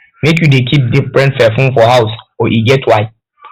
make you dey keep different perfume for house o e get why